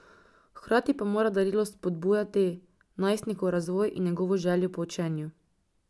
Hkrati pa mora darilo spodbujati najstnikov razvoj in njegovo željo po učenju.